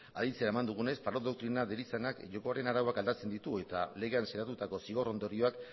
aditzera eman dugunez parot doktrina deritzanak jokoaren arauak aldatzen ditu eta legean sinatutako zigor ondorioak